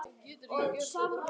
Þarftu svona mikið land?